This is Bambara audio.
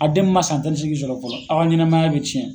A den min man san tan ni seegin sɔrɔ fɔlɔ a' ɲanamaya bɛ ciyɛn.